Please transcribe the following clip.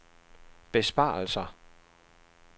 besparelser